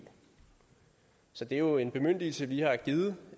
så det er jo en bemyndigelse vi har givet